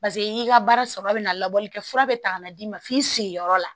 Paseke i ka baara sɔrɔ bɛ na labɔlikɛ fura bɛ ta ka d'i ma f'i sigiyɔrɔ la